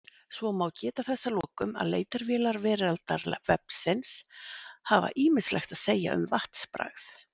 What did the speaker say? Svo má geta þess að lokum að leitarvélar Veraldarvefsins hafa ýmislegt að segja um vatnsbragð.